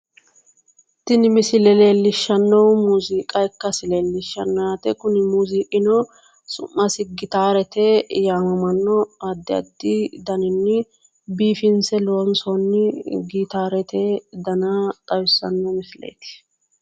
Tini misile leellishshannohu muuziiqa ikkase lellishanno yaate kuni muuziiqino su'masi gitaarete yaamamanno addi addi daninni biifinse loonsoonni gitaarete dana xawissanno misileeti.